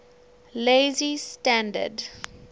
lazy standard ml